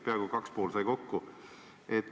Peaaegu kaks ja pool sai kokku.